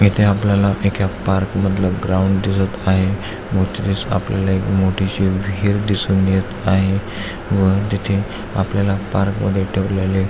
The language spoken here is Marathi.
इथे आपल्याला एक्या पार्क मधल ग्राउंड दिसून येत आहे व तेथेच आपल्याला एक मोठी शी विहीर दिसून येत आहे व तिथे आपल्याला पार्क मध्ये ठेवलेले--